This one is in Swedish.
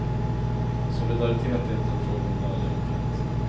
Solidaritet är inte en fråga om välgörenhet.